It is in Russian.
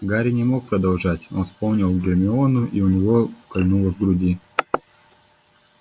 гарри не мог продолжать он вспомнил гермиону и у него кольнуло в груди